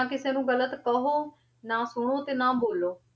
ਨਾ ਕਿਸੇ ਨੂੰ ਗ਼ਲਤ ਕਹੋ, ਨਾ ਸੁਣੋ ਤੇ ਨਾ ਬੋਲੋ।